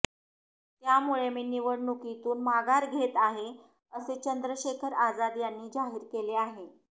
त्यामुळे मी निवडणुकीतून माघार घेत आहे असे चंद्रशेखर आजाद यांनी जाहीर केले आहे